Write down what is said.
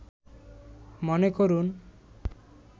মনে করুন